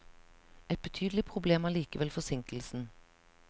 Et betydelig problem er likevel forsinkelsen.